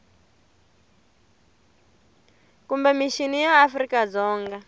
kumbe mixini ya afrika dzonga